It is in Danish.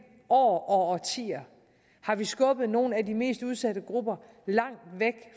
år og årtier skubbet nogle af de mest udsatte grupper langt væk